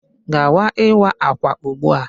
Gawa ịwa ákwà ugbu a.